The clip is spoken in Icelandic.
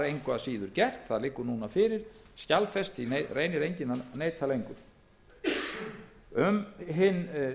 síður var það gert það liggur fyrir skjalfest því reynir enginn að neita lengur um hinn